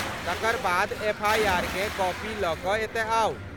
तकर बाद एफआइआरकेँ कॉपी लऽ कऽ एतय आउ।